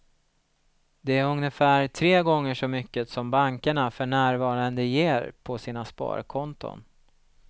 Det är ungefär tre gånger så mycket som bankerna för närvarande ger på sina sparkonton.